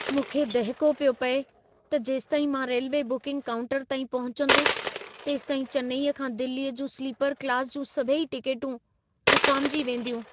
मूंखे दहिको पियो पिए त जेसिताईं मां रेल्वे बुकिंग काउंटर ताईं पहुचंदुसि, तेसिताईं चेन्नई खां दिल्लीअ जूं स्लीपर क्लास जूं सभई टिकेटूं विकामिजी वेंदियूं।